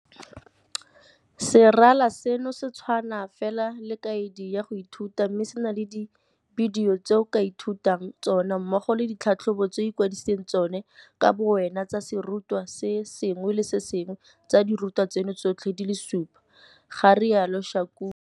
Serala seno se tshwana fela le kaedi ya go ithuta mme se na le dibidio tse o ka ithutang ka tsona mmogo le ditlhatlhobo tse o ikwadisang tsona ka bowena tsa serutwa se sengwe le se sengwe tsa dirutwa tseno tsotlhe di le supa, ga rialo Shakung.